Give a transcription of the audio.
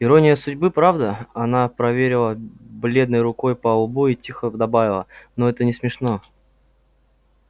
ирония судьбы правда она проверила бледной рукой по лбу и тихо добавила но это не смешно